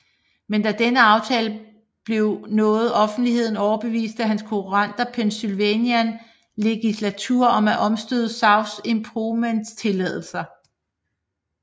Men da denne aftale blev nåede offentligheden overbeviste hans konkurrenter Pennsylvania Legislature om at omstøde South Improvements tilladelser